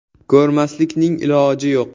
Ko‘rmaslikning iloji yo‘q!